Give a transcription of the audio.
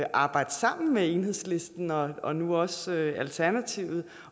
arbejde sammen med enhedslisten og og nu også alternativet